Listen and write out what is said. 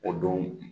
O don